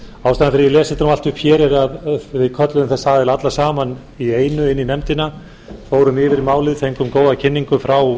ég les þetta allt upp hér er að við kölluðum þessa aðila alla saman í einu inn í nefndina fórum yfir málið fengum góða kynningu frá